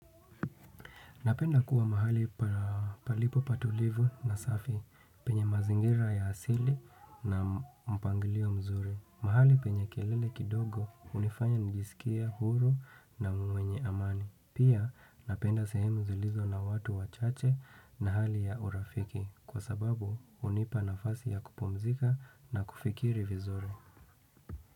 Napenda kuwa mahali palipo patulivu na safi penye mazingira ya asili na mpangilio mzuri. Mahali penye kelele kidogo hunifanya nijiskie huru na mwenye amani. Pia napenda sehemu zilizo na watu wachache na hali ya urafiki kwa sababu hunipa nafasi ya kupumzika na kufikiri vizuri.